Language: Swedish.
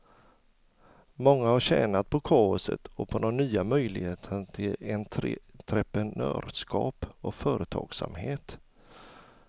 Många har tjänat på kaoset och på de nya möjligheterna till entreprenörskap och företagsamhet.